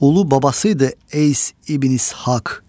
Ulu babası idi, Es İbn İshaq.